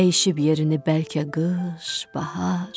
Dəyişib yerini bəlkə qış, bahar.